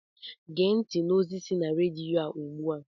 Gee ntị n'ozi si na rediyo ugbu a!